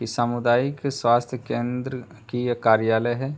ई सामुदायिक स्वास्थ्य केंद्र की ये कार्यालय है।